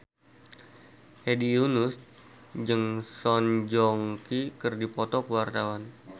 Hedi Yunus jeung Song Joong Ki keur dipoto ku wartawan